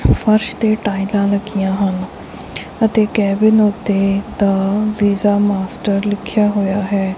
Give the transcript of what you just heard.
ਫਰਸ਼ ਤੇ ਟਾਈਲਾਂ ਲੱਗੀਆਂ ਹਨ ਅਤੇ ਕੈਬਿਨ ਉੱਤੇ ਦਾ ਵੀਜ਼ਾ ਮਾਸਟਰ ਲਿਖਿਆ ਹੋਇਆ ਹੈ।